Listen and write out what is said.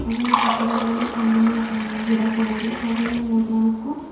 ಹಾಗೆ ಇಲ್ಲಿ ಪಕ್ಕದಲ್ಲಿ ಒಂದು ಟೆಂಗಿನ ಅ ಗಿಡ ಕೂಡ ಇದೆ ಹಾಗೆ ಇಲ್ಲಿ ಮೂರು ನಾಲ್ಕು--